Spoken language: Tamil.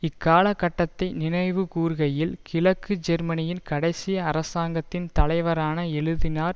இக்காலக் கட்டத்தை நினைவு கூர்கையில் கிழக்கு ஜெர்மனியின் கடைசி அரசாங்கத்தின் தலைவரான எழுதினார்